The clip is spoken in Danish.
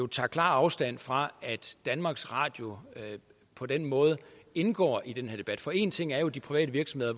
tager klar afstand fra at danmarks radio på den måde indgår i den her debat for en ting er jo at de private virksomheder